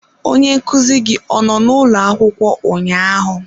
Onye nkuzi gị ọ nọ n'ụlọ akwụkwọ ụnyaahụ?